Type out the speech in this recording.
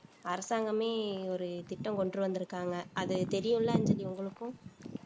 அரசாங்கமே ஒரு திட்டம் கொண்டு வந்திருக்காங்க அது தெரியும்லன்னு அஞ்சலி உங்களுக்கும்